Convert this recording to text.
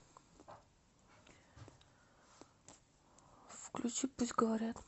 включи пусть говорят